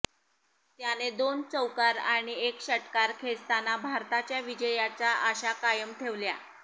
त्याने दोन चौकार आणि एक षटकार खेचताना भारताच्या विजयाच्या आशा कायम ठेवल्या